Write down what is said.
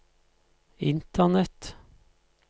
internett